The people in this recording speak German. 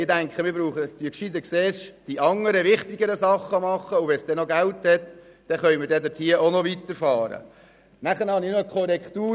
Ich denke, wir machen gescheiter zuerst die anderen wichtigen Dinge, und wenn es dann noch Geld hat, können wir hier auch noch weiterfahren Dann habe ich noch eine Korrektur.